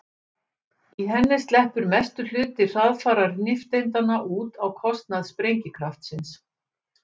í henni sleppur mestur hluti hraðfara nifteindanna út á kostnað sprengikraftsins